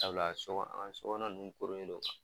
sabula sɔkɔ an ŋa nunnu koronnen don